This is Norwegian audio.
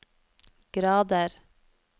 grader